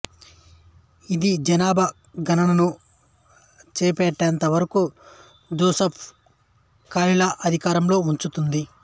ఇది జనాభా గణనను చేపట్టేంత వరకు జోసెఫ్ కాలిలా అధికారంలో ఉంచుతుంది